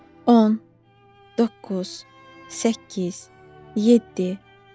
10, 9, 8, 7.